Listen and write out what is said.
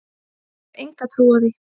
Ég hef enga trú á því,